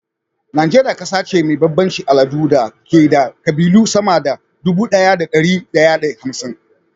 Najeriya ƙasa ce mai bambancin al'adu da ke da ƙabilu sama da dubu ɗaya da dari ɗaya da hamsin